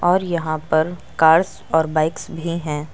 और यहां पर कार्स और बाइक्स भी हैं।